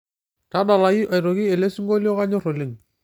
tadalayu aitoki elesingolio kanyor oleng